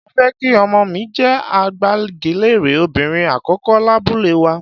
Mo fẹ́ kí Ọmọọ̀ mi jẹ́ agbẹ́gilére obìnrin àkọ́kọ́ lábúlé wa.